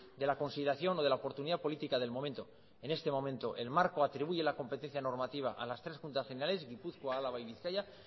de la consideración o de la oportunidad política del momento en este momento el marco atribuye la competencia normativa a las tres juntas generales gipuzkoa álava y bizkaia